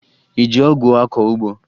Ị ji ọgụ akọ ugbo?